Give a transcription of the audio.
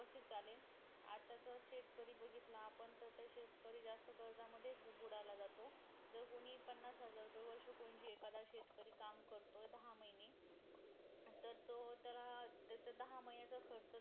कस झाले आजचा जर शेतकरी बघितला आपण जर शेतकरी ला जास्त burden मध्ये बुडाला जातो जस कि पन्नास हजार रुपय वर्षभर म्हणजे एखादा शेतकरी काम करतो दहा महिने अं तर तो त्याला त्याचा दहा महिन्याचा खर्च